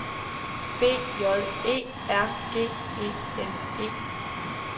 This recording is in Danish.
B J E R G E N E